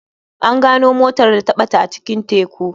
An gano motar da ta bata a cikin teku.